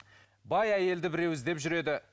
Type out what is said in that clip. бай әйелді біреу іздеп жүреді